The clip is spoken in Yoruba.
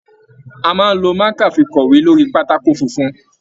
A máa n ló maka fí kọwe lórí pátákó funfun.